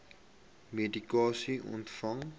chroniese medikasie ontvang